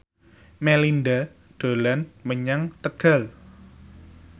Melinda dolan menyang Tegal